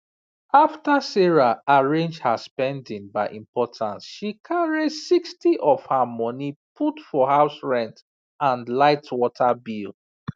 after sarah arrange her spending by importance she carry 60of her money put for house rent and lightwater bill